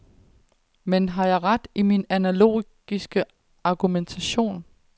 Men har jeg ret i min analogiske argumentation.